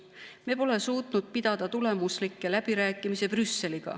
Me pole suutnud pidada Brüsseliga tulemuslikke läbirääkimisi.